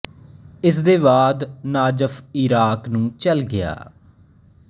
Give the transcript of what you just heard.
ਇਸ ਦੇ ਬਾਅਦ ਨਾਜਫ ਈਰਾਕ ਨੂੰ ਚੱਲ ਗਿਆ